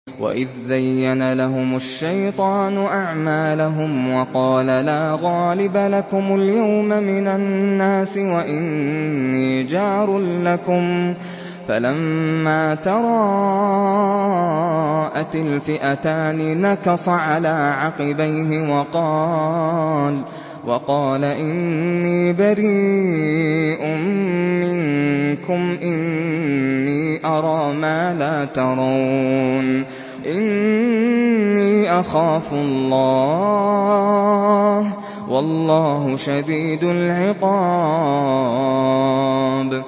وَإِذْ زَيَّنَ لَهُمُ الشَّيْطَانُ أَعْمَالَهُمْ وَقَالَ لَا غَالِبَ لَكُمُ الْيَوْمَ مِنَ النَّاسِ وَإِنِّي جَارٌ لَّكُمْ ۖ فَلَمَّا تَرَاءَتِ الْفِئَتَانِ نَكَصَ عَلَىٰ عَقِبَيْهِ وَقَالَ إِنِّي بَرِيءٌ مِّنكُمْ إِنِّي أَرَىٰ مَا لَا تَرَوْنَ إِنِّي أَخَافُ اللَّهَ ۚ وَاللَّهُ شَدِيدُ الْعِقَابِ